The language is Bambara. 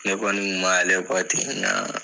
Ne kɔni kun m'ale ten